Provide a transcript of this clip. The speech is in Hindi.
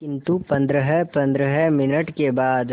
किंतु पंद्रहपंद्रह मिनट के बाद